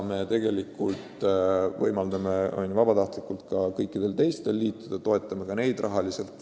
Samas me võimaldame vabatahtlikult kõikidel teistelgi liituda ja toetame siis ka neid rahaga.